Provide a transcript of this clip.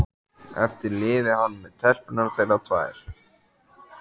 Eftir lifi hann með telpurnar þeirra tvær.